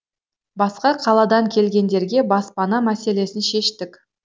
басқа қаладан келгендерге баспана мәселесін шештік